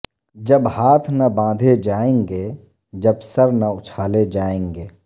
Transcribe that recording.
جب ہاتھ نہ باندھے جائیں گے جب سر نہ اچھالے جائیں گے